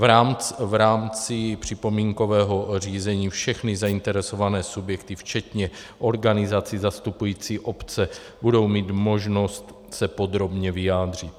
V rámci připomínkového řízení všechny zainteresované subjekty včetně organizací zastupujících obce budou mít možnost se podrobně vyjádřit.